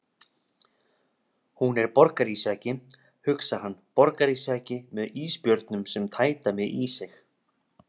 Hún er borgarísjaki, hugsar hann, borgarísjaki með ísbjörnum sem tæta mig í sig.